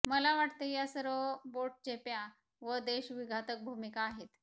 मला वाटते या सर्व बोटचेप्या व देशविघातक भूमिका आहेत